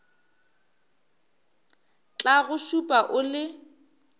tla go šupa o le